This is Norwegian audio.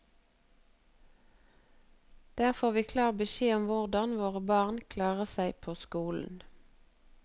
Der får vi klar beskjed om hvordan våre barn klarer seg på skolen.